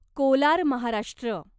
Kolar Maharashtra